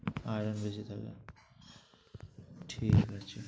Iron বেশি থাকে, ঠিক আছে।